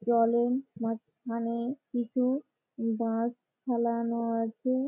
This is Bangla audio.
জলেন মাঝখানে কিছু বাঁশ ফেলানো আছে।